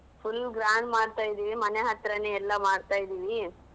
Full grand ಮಾಡ್ತಾ ಇದ್ದಿವಿ ಮನೆ ಹತ್ರನೇ ಎಲ್ಲ ಮಾಡ್ತಾ ಇದ್ದಿವಿ.